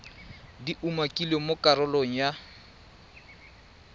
di umakilweng mo karolong ya